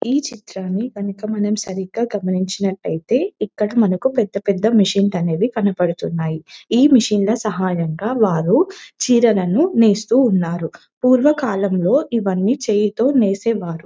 ఈ చిత్రాన్ని గనుక మనం సరిగా గమనించినట్టయితే ఇక్కడ మనకు పెద్ద పెద్ద మెషిన్ లు అనేవి కనబడుతున్నాయి ఈ మెషిన్ ల సహాయంగా వారు చీరలను నేస్తూ ఉన్నారు పూర్వకాలంలో ఇవ్వని చేయితో నేసె వారు.